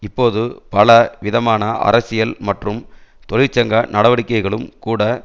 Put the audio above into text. இப்போது பல விதமான அரசியல் மற்றும் தொழிற்சங்க நடவடிக்கைகளும் கூட